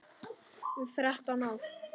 Þrettán ár.